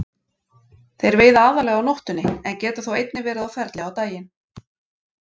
Þeir veiða aðallega á nóttunni en geta þó einnig verið á ferli á daginn.